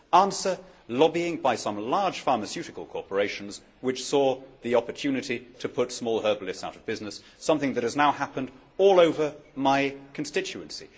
Answer lobbying by some large pharmaceutical corporations, which saw the opportunity to put small herbalists out of business something that has now happened all over my constituency.